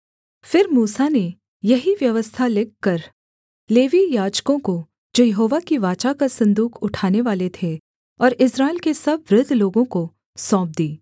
फिर मूसा ने यही व्यवस्था लिखकर लेवीय याजकों को जो यहोवा की वाचा का सन्दूक उठानेवाले थे और इस्राएल के सब वृद्ध लोगों को सौंप दी